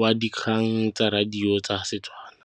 w dikgang tsa radio tsa Setswana.